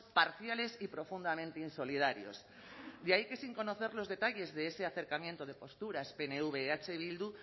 parciales y profundamente insolidarios de ahí que sin conocer los detalles de ese acercamiento de posturas pnv eh bildu